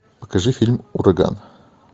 покажи фильм ураган